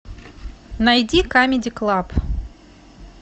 найди камеди клаб